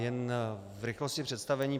Jen v rychlosti představení.